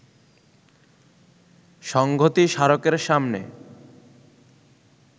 সংঘতি স্মারকের সামনে